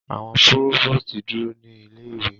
Awọn provost duro ni ile-iwe